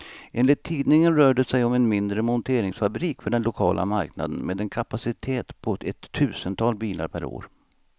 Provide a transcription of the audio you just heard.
Enligt tidningen rör det sig om en mindre monteringsfabrik för den lokala marknaden, med en kapacitet på ett tusental bilar per år.